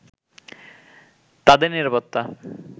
তাদের নিরাপত্তা